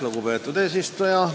Lugupeetud eesistuja!